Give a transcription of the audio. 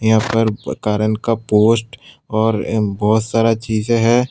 यहां पर कारन का पोस्ट और अ बहोत सारा चीजे हैं।